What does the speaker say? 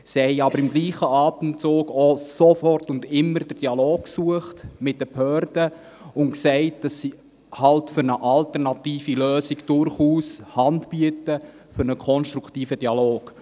Sie haben aber im gleichen Atemzug auch und immer den Dialog mit den Behörden gesucht und gesagt, dass sie für eine alternative Lösung durchaus Hand bieten für einen konstruktiven Dialog.